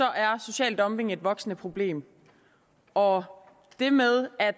er social dumping et voksende problem og det med at